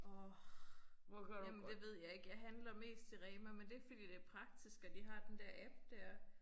Orh jamen det ved jeg ikke. Jeg handler mest i Rema men det fordi det praktisk at de har den der app dér